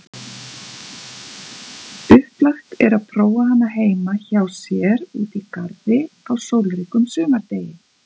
Upplagt er prófa hana heima hjá sér úti í garði á sólríkum sumardegi.